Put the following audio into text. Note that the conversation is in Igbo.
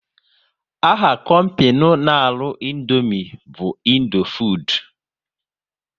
Aha kompinu n' arụ Indomie bu Indofood